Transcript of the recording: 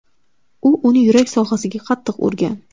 U uni yurak sohasiga qattiq urgan.